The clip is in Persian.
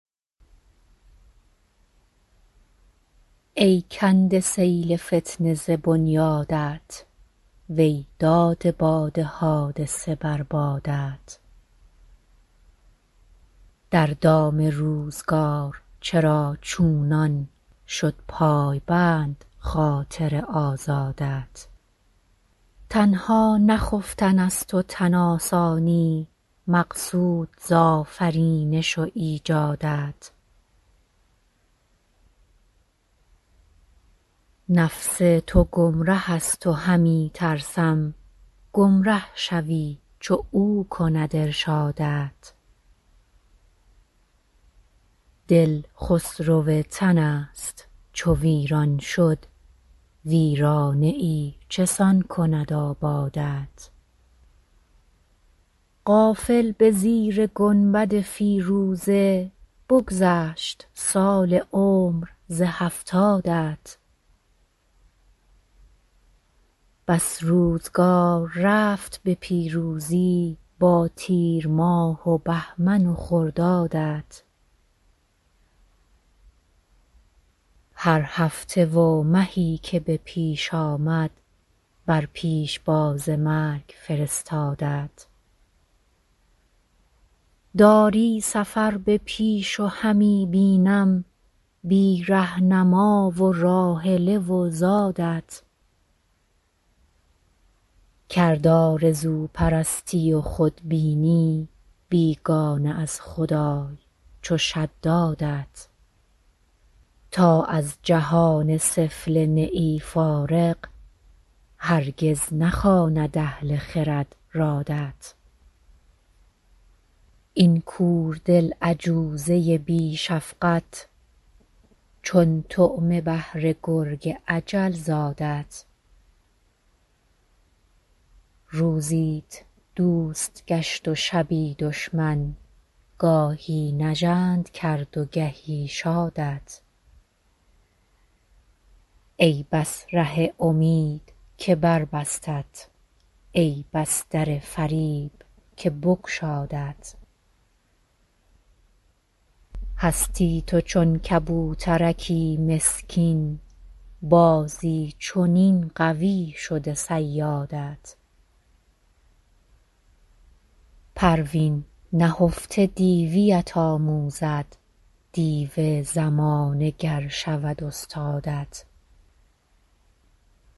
ای کنده سیل فتنه ز بنیادت وی داده باد حادثه بر بادت در دام روزگار چرا چونان شد پایبند خاطر آزادت تنها نه خفتن است و تن آسانی مقصود ز آفرینش و ایجادت نفس تو گمره است و همی ترسم گمره شوی چو او کند ارشادت دل خسرو تن است چو ویران شد ویرانه ای چسان کند آبادت غافل بزیر گنبد فیروزه بگذشت سال عمر ز هفتادت بس روزگار رفت به پیروزی با تیرماه و بهمن و خردادت هر هفته و مهی که به پیش آمد بر پیشباز مرگ فرستادت داری سفر به پیش و همی بینم بی رهنما و راحله و زادت کرد آرزو پرستی و خود بینی بیگانه از خدای چو شدادت تا از جهان سفله نه ای فارغ هرگز نخواند اهل خرد رادت این کور دل عجوزه بی شفقت چون طعمه بهر گرگ اجل زادت روزیت دوست گشت و شبی دشمن گاهی نژند کرد و گهی شادت ای بس ره امید که بربستت ای بس در فریب که بگشادت هستی تو چون کبوترکی مسکین بازی چنین قوی شده صیادت پروین نهفته دیویت آموزد دیو زمانه گر شود استادت